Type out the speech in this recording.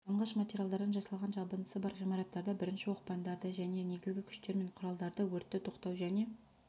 жанғыш материалдардан жасалған жабындысы бар ғимараттарда бірінші оқпандарды және негізгі күштер мен құралдарды өртті тоқтау және